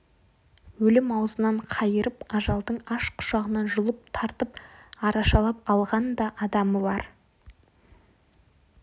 өлім аузынан қайырып ажалдың аш құшағынан жұлып тартып арашалап алған да адамы бар